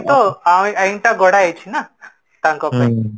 ତ ଏଇ ଆଇନ ଟା ଗଡା ହେଇଚି ନା ତାଙ୍କ ପାଇଁ